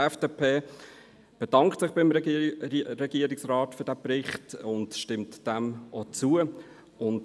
Die FDP bedankt sich beim Regierungsrat für diesen Bericht und stimmt diesem auch zu.